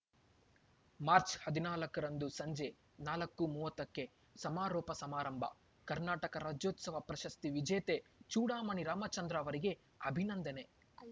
March ಹದಿನಾಲ್ಕರಂದು ಸಂಜೆ ನಾಲ್ಕು ಮೂವತ್ತಕ್ಕೆ ಸಮಾರೋಪ ಸಮಾರಂಭ ಕರ್ನಾಟಕ ರಾಜ್ಯೋತ್ಸವ ಪ್ರಶಸ್ತಿ ವಿಜೇತೆ ಚೂಡಮಣಿ ರಾಮಚಂದ್ರ ಅವರಿಗೆ ಅಭಿನಂದನೆ